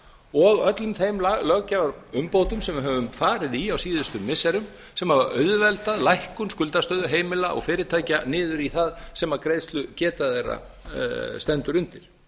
og öllum þeim löggjafarumbótum sem við höfum farið í á síðustu missirum sem hafa auðveldað lækkun skuldastöðu heimila og fyrirtækja niður í það sem greiðslugeta þeirra stendur undir